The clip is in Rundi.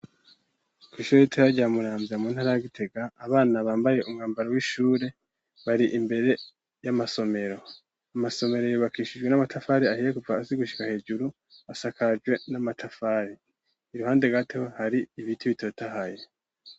Kw'ishuri ritoya rya Muramvya mu ntara ya Gitega, abana bambaye umwambaro w'ishure bari imbere y'amasomero, amasomero yubakishijwe n'amatafari ahiye kuva hasi gushika hejuru asakajwe n'amatafari , iruhande gato hari ibiti bitotahaye.